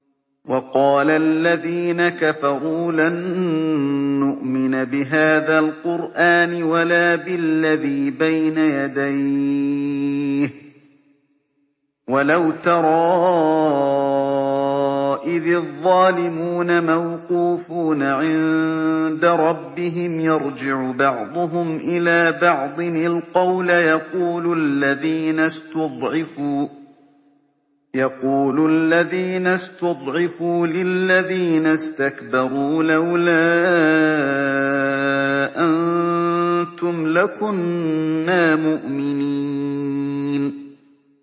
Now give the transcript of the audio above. وَقَالَ الَّذِينَ كَفَرُوا لَن نُّؤْمِنَ بِهَٰذَا الْقُرْآنِ وَلَا بِالَّذِي بَيْنَ يَدَيْهِ ۗ وَلَوْ تَرَىٰ إِذِ الظَّالِمُونَ مَوْقُوفُونَ عِندَ رَبِّهِمْ يَرْجِعُ بَعْضُهُمْ إِلَىٰ بَعْضٍ الْقَوْلَ يَقُولُ الَّذِينَ اسْتُضْعِفُوا لِلَّذِينَ اسْتَكْبَرُوا لَوْلَا أَنتُمْ لَكُنَّا مُؤْمِنِينَ